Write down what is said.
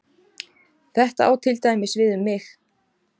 Þetta á til dæmis við um mig.